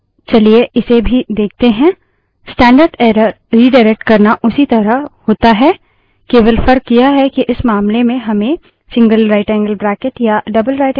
चलिए इसे भी देखते है